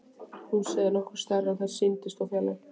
Húsið er nokkru stærra en það sýndist úr fjarlægð.